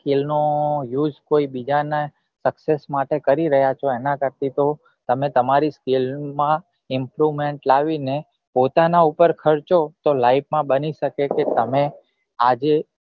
skil નો use કોઈ બીજા ના sucsess માટે કરી ર્રાહ્ય છો એના કરતા તો તમે તમારા skil માં improvement લાવી ને પોતાના પર ખર્ચો તતો life માં બની સકે કે તમે આજે